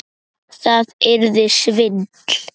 Það yrði svindl.